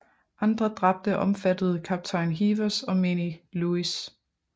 Andre dræbte omfattede kaptajn Heevers og menig Lewis